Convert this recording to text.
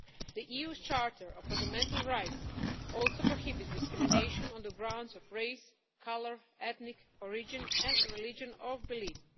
The EU's Charter of Fundamental Rights also prohibits discrimination on the grounds of race, colour, ethnic origin and religion or belief.